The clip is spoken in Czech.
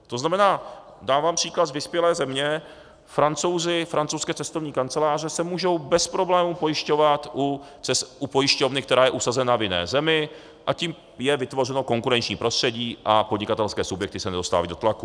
To znamená, dávám příklad z vyspělé země: Francouzi, francouzské cestovní kanceláře se můžou bez problému pojišťovat u pojišťovny, která je usazena v jiné zemi, a tím je vytvořeno konkurenční prostředí a podnikatelské subjekty se nedostávají do tlaku.